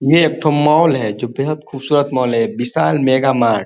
ये एक ठो मॉल है जो बेहद खूबसूरत मॉल है विशाल मेगा मार्ट --